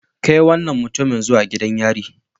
Kai wannan mutumin zuwa gidan yari